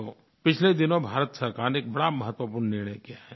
तो पिछले दिनों भारत सरकार ने एक बड़ा महत्वपूर्ण निर्णय किया है